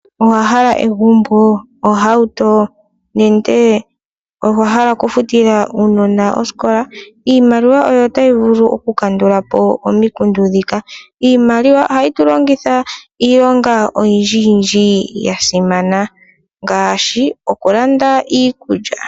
Owa hala egumbo nenge ohauto nenge owa hala oku futila uunona osikola. Iimaliwa oyo tayi vulu oku kandulapo omikundu ndjika. Iimaliwa ohatu yi longitha oku landa iinima oyindjiyindji ya simana ngaashi oku landa iikulya.